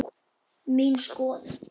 Mín skoðun?